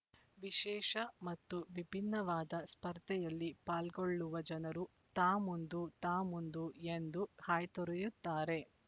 ವಿಶೇಷ ಮತ್ತು ವಿಭಿನ್ನವಾದ ಸ್ಪರ್ಧೆಯಲ್ಲಿ ಪಾಲ್ಗೊಳ್ಳುವ ಜನರು ತಾಮುಂದು ತಾಮುಂದು ಎಂದು ಹಾಯ್ ತೊರೆಯುತ್ತಾರೆ